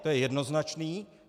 To je jednoznačné.